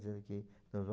Dizendo que nós